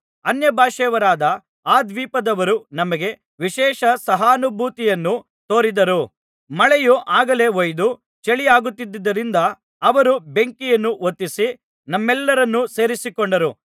ಅನ್ಯಭಾಷೆಯವರಾದ ಆ ದ್ವೀಪದವರು ನಮಗೆ ವಿಶೇಷ ಸಹಾನುಭೂತಿಯನ್ನು ತೋರಿದರು ಮಳೆಯು ಆಗಲೇ ಹೊಯ್ದು ಚಳಿಯಾಗುತ್ತಿದ್ದುದರಿಂದ ಅವರು ಬೆಂಕಿಯನ್ನು ಹೊತ್ತಿಸಿ ನಮ್ಮೆಲ್ಲರನ್ನು ಸೇರಿಸಿಕೊಂಡರು